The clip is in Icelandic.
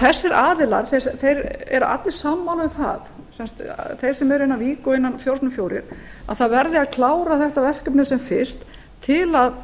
þessir aðilar eru allir sammála um það þeir sem eru innan vik og fjórum sinnum fjórir að það verði að klára þetta verkefni sem fyrst til að